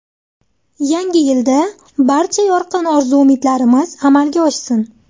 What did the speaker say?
Yangi yilda barcha yorqin orzu-umidlarimizni amalga oshsin!